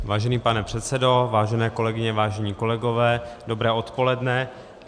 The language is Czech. Vážený pane předsedo, vážené kolegyně, vážení kolegové, dobré odpoledne.